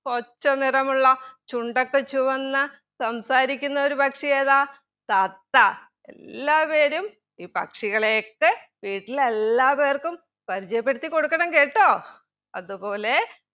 പച്ചനിറമുള്ള ചുണ്ടൊക്കെ ചുവന്ന സംസാരിക്കുന്ന ഒരു പക്ഷിയേതാ തത്ത എല്ലാവരും ഈ പക്ഷികളെയൊക്കെ വീട്ടിലെല്ലാവർക്കും പരിജയപ്പെടുത്തിക്കൊടുക്കണം കേട്ടോ അത് പോലെ